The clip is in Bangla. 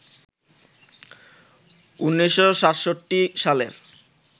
১৯৬৭ সালের